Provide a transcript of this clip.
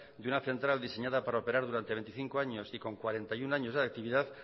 de una central diseñada para operar durante veinticinco años y con cuarenta y uno años de actividad